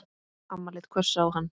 Amma leit hvöss á hann.